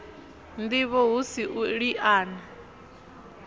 ndivho hu si u liana